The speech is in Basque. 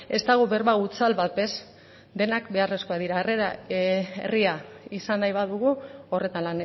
ez dago berba hutsal bat ez denak beharrezkoak dira harrera herria izan nahi badugu horretan